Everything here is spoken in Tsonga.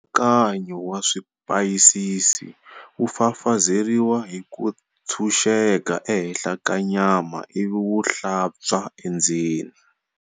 Nkatsakanyo wa swipayisisi wu fafazeriwa hi ku ntshunxeka ehenhla ka nyama ivi wu hlantswa endzeni.